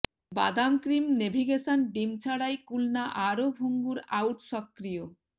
বাদাম cream navigation ডিম ছাড়াই কুলনা আরও ভঙ্গুর আউট সক্রিয়